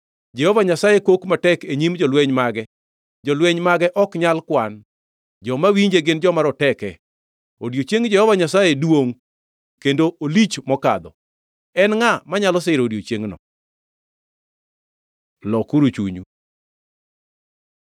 Jehova Nyasaye kok matek e nyim jolweny mage; jolweny mage ok nyal kwan, joma winje gin joma roteke. Odiechieng Jehova Nyasaye duongʼ; kendo olich mokadho. En ngʼa manyalo siro odiechiengno? Lokuru chunyu